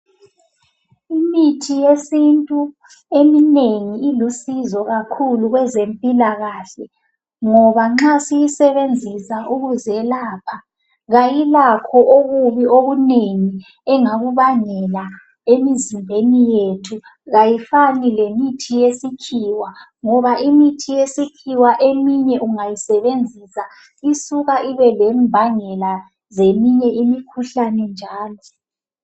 imithi eyesintu eminengi kakhulu ilusizo kwezempikahle ngoba nxa siyisebenzisa ukuzelapha kayilakho okubi okunengi engakubangela emizimbeni yethu kayifani lemithi yesikhiwa ngoba imithi yesikhiwa eminye ungayisebenzisa isuka ibe lembangela zeminye imikhulane njalo